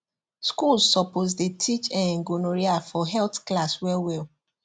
schools suppose dey teach um gonorrhea for health class well well